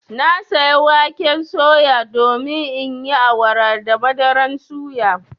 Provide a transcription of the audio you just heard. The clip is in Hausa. Na saya waken suya domin in yi awara da madaran suya.